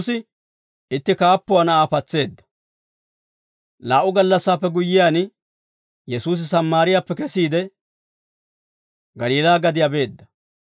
Laa"u gallassaappe guyyiyaan, Yesuusi Sammaariyaappe kesiide, Galiilaa gadiyaa beedda.